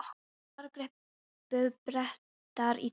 En þar gripu Bretar í tómt.